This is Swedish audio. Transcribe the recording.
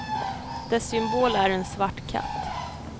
Dess symbol är en svart katt.